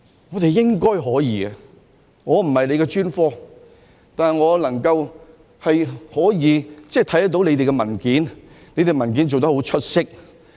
我們應該可以的，我不是這個專科，但我看到它們的文件，它們的文件是做得很出色。